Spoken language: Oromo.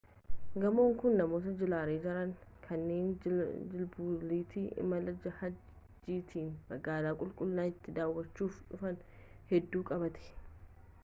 gamoon kun namoota jilarra jiran kanneen jalbultii imala hajjiitti magaalaa qulqullittii daawachuuf dhufan hedduu qabate